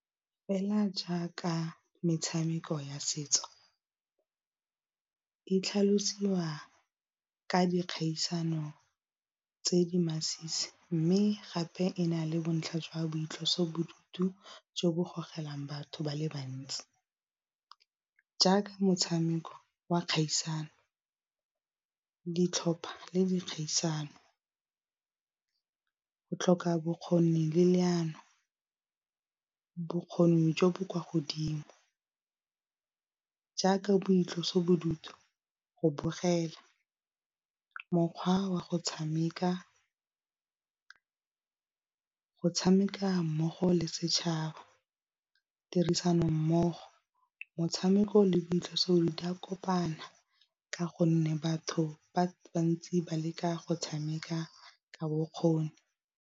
Fela jaaka metshameko ya setso e tlhalosiwa ka dikgaisano tse di masisi, mme gape e na le bontlha jwa boitlosobodutu jo bo gogelang batho ba le bantsi, jaaka motshameko wa kgaisano, ditlhopha le dikgaisano, go tlhoka bokgoni le leano, bokgoni jo bo kwa godimo, jaaka boitlosobodutu, go bogela, mokgwa wa go tshameka, go tshameka mmogo le setšhaba, tirisano mmogo, motshameko le boitlosobodutu di a kopana ka gonne batho ba bantsi ba leka go tshameka ka bokgoni.